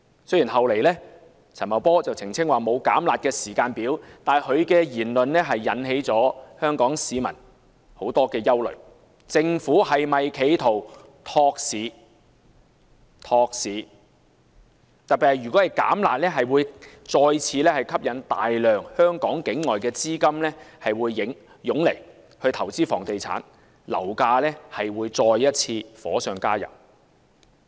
雖然陳茂波事後澄清沒有"減辣"時間表，但其言論就引起了香港市民的憂慮政府是否企圖托市，特別是如果"減辣"，將再次吸引大量境外資金湧來香港投資房地產，樓價勢必再次火上加油。